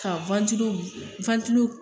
Ka wantilo wantilo